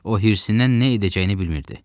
O hirsindən nə edəcəyini bilmirdi.